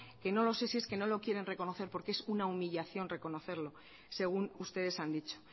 que no lo sé si es que no lo quieren reconocer porque es una humillación reconocerlo según ustedes han dicho